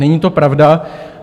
Není to pravda.